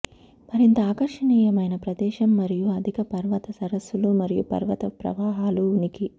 మరింత ఆకర్షణీయమైన ప్రదేశం మరియు అధిక పర్వత సరస్సులు మరియు పర్వత ప్రవాహాలు ఉనికి